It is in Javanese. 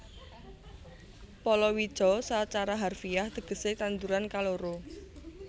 Palawija sacara harfiah tegesé tanduran kaloro